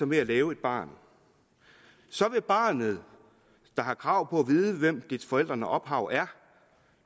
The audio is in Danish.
med at lave et barn så vil barnet der har krav på at vide hvem dets forældrene ophav er